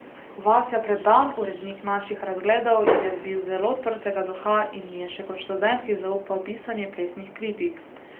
Vasja Predan, urednik Naših razgledov, je bil zelo odprtega duha in mi je še kot študentki zaupal pisanje plesnih kritik.